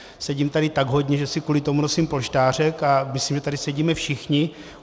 Sedím tady tak hodně, že si kvůli tomu nosím polštářek, a myslím, že tady sedíme všichni.